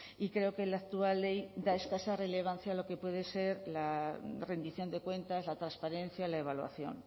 y creo que la actual ley da escasa relevancia a lo que puede ser la rendición de cuentas la transparencia la evaluación